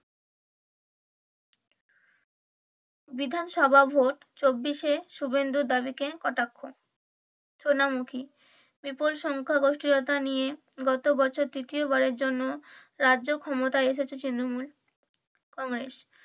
বিধানসভা ভোট চব্বিশে শুভেন্দুর দাবিকে কটাক্ষ সোনামুখী বিপুল সংখা গোষ্ঠীরোতা নিয়ে গত বছর তৃতীয় বারের জন্য রাজ্য ক্ষমতায় এসেছে তৃণমূল কংগ্রেস